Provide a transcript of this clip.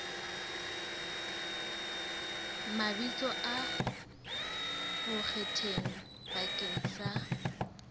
mabitso a bonkgetheng bakeng sa